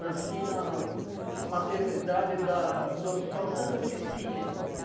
Nasci na maternidade da do Hospital Santa Cecília.